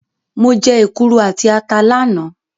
Mo jẹ́ èkuru àti ata lánàá.